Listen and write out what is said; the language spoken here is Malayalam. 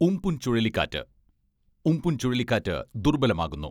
ഉം.പുൻ ചുഴലിക്കാറ്റ് ഉം.പുൻ ചുഴലിക്കാറ്റ് ദുർബലമാകുന്നു.